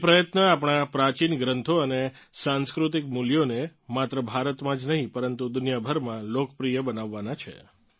એ પ્રયત્ન આપણાં પ્રાચીન ગ્રંથો અને સાંસ્કૃતિક મૂલ્યોને માત્ર ભારતમાં જ નહીં પરંતુ દુનિયાભરમાં લોકપ્રિય બનાવવાનાં છે